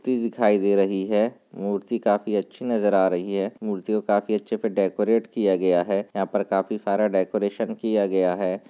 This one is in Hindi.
टी दिखाई दे रही है मूर्ति काफी अच्छी नजर आ रही है मूर्ति को काफी अच्छे से डेकोरेट किया गया है यहाँ पर काफी सारा डेकोरेशन किया गया है।